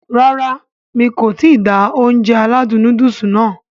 Rárá mi kò ti da Ounjẹ aládùn nóódùsì nàá